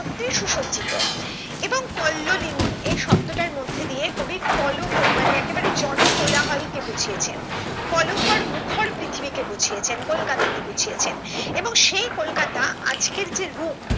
সত্যিই সুসজ্জিত এবং কল্লোলিনী এই শব্দটার মধ্যে দিয়ে কবি কলকর মানে একেবারে জনকোলাহল কে বুঝিয়েছেন কোলাহল মুখর পৃথিবীকে বুঝিয়েছেন কলকাতা কে বুঝিয়েছেন এবং সেই কলকাতা আজকের যে রূপ